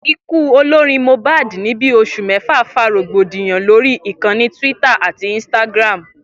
Ikú olorin Mohbad ní bí os̩ù méjì fa rògbòdìyàn lórí ìkanni twitter ati instagram